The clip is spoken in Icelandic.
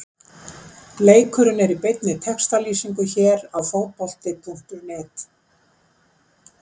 Leikurinn er í beinni textalýsingu hér á Fótbolti.net.